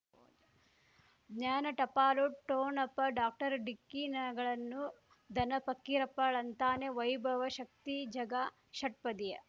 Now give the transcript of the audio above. ಜ್ಞಾನ ಟಪಾಲು ಠೋಣಪ ಡಾಕ್ಟರ್ ಢಿಕ್ಕಿ ಣಗಳನು ಧನ ಫಕೀರಪ್ಪ ಳಂತಾನೆ ವೈಭವ ಶಕ್ತಿ ಝಗಾ ಷಟ್ಪದಿಯ